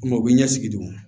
u bɛ ɲɛsigidon